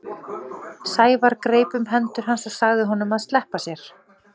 Sævar greip um hendur hans og sagði honum að sleppa sér.